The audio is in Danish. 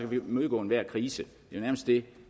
vi imødegå enhver krise det er nærmest det